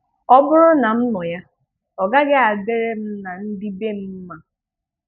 Ọ bụrụ na m nọ ya ọ gaghị adịrị m na ndị bè m mma.